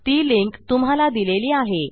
ती लिंक तुम्हाला दिलेली आहे